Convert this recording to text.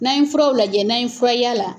N'an furaw lajɛ n'an ye fura y'a la